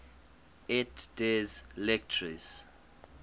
et des lettres